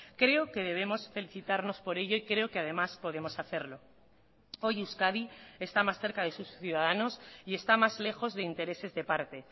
creo que debemos felicitarnos por ello y creo que además podemos hacerlo hoy euskadi está más cerca de sus ciudadanos y está más lejos de intereses de parte